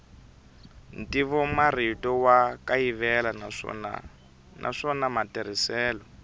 ntivomarito wa kayivela naswona matirhiselo